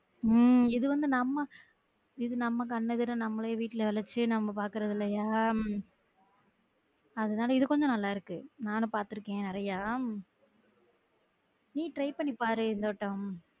உம் இது வந்து நம்ம இது நம்ம கண் எதிர நம்மளே வீட்டுல நம்ம பாக்குறது இல்லையா அதுனால இது கொஞ்சம் நல்லா இருக்கு நானும் பாத்துருக்கன் நெறையா நீ try பன்னி பாரு இந்த வட்டம்